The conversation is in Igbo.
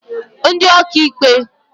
ndị ọkaikpe